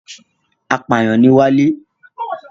Apàyàn ni Wálé.